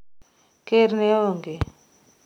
Ker ne onge